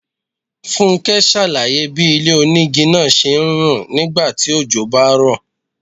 Fúnké ṣàlàyé bí ilé-onígi náà ṣe ń rùn nígbà tí ojò bá ń rọ̀.